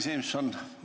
Kadri Simson!